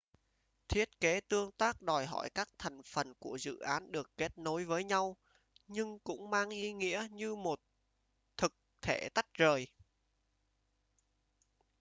thiết kế tương tác đòi hỏi các thành phần của dự án được kết nối với nhau nhưng cũng mang ý nghĩa như một thực thể tách rời